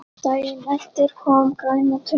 Daginn eftir kom græna tunnan.